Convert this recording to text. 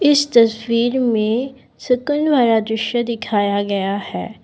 इस तस्वीर में सुकून वाला दृश्य दिखाया गया है।